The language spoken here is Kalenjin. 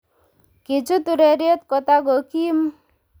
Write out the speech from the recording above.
Kichut ureriet kotakokiim